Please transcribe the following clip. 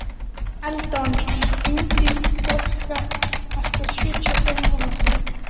Það sljákkaði í Lillu við söguna.